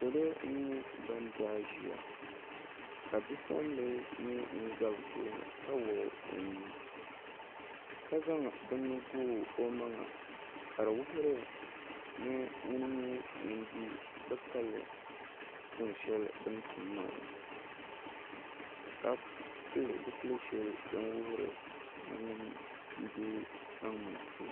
Salo n nyɛ ban daai ʒiya ka bipuɣunbili nyɛ ŋun ʒɛ bi tooni ka wuɣu o nuu ka zaŋ bini gooi o maŋa ka di wuhuri ni ŋuni n nyɛ ŋun di bi kaya tuun shɛli bi ni tum maa ka pili zipili shɛli din wuhuri ni ŋuni n deei kpaŋmaŋ pini